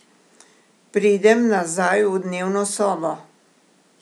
Pridem nazaj v dnevno sobo.